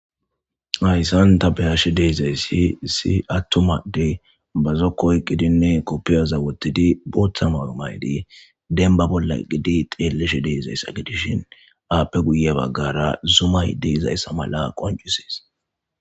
Hayssan ta behashe deezayssi si attumadde bazo koy qidinne koppiyaza wottidi booththama wumaydi denba bolla gidi xeelleshe deezaysa gidishin aappe guye baggara zumay di izayssa mala qoncuses.